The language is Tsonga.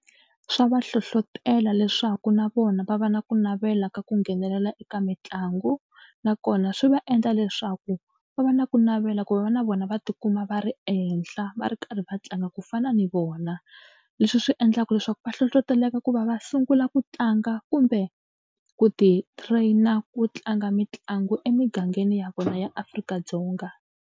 Swa va hlohlotela leswaku na vona va va na ku navela ka ku nghenelela eka mitlangu nakona swi va endla leswaku va va na ku navela ku va na vona va tikuma va ri ehenhla va ri karhi va tlanga ku fana ni vona. Leswi swi endlaka leswaku va hlohloteleka ku va va sungula ku tlanga kumbe ku ti-train-a ku tlanga mitlangu emigangeni ya vona ya Afrika-Dzonga.